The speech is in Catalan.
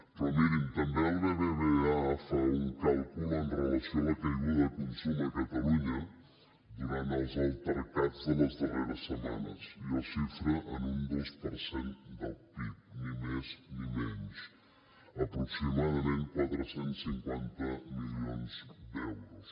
però mirin també el bbva fa un càlcul amb relació a la caiguda de consum a catalunya durant els altercats de les darreres setmanes i el xifra en un dos per cent del pib ni més ni menys aproximadament quatre cents i cinquanta milions d’euros